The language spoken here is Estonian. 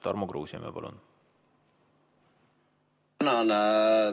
Tarmo Kruusimäe, palun!